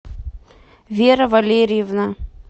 вера валерьевна